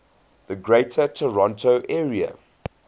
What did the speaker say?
greater toronto area